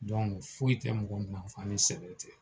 Dɔnku foyi tɛ mɔgɔ nafa ni sɛbɛ tɛ